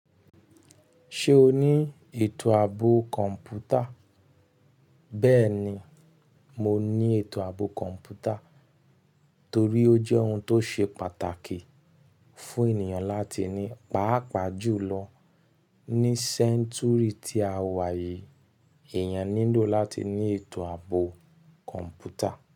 Ṣé o ní ètò ààbò kọ̀ǹpútà? Bẹ́ẹ̀ni, mo ní ètò ààbò kọ̀ǹpútà torí ó jẹ́ ohun tó ṣe pàtàkì fún ènìyàn láti ní. Páàpàá jùlọ ní century tí a wà yìí, èèyàn nílò láti ní ètò ààbò kọ̀ǹpútà.